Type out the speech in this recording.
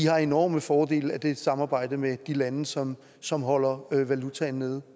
har enorme fordele af det samarbejde med de lande som som holder valutaen nede